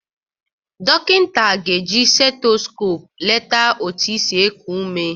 Dọkịnta ga-eji setoskop leta otu isi ekụ ụme.